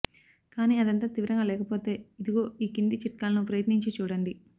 కానీ అదంత తీవ్రంగా లేకపోతే ఇదిగో ఈ కింది చిట్కాలను ప్రయత్నించి చూడండి